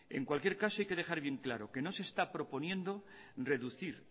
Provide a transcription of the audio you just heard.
en cualquier caso hay que dejar bien claro que no se está proponiendo reducir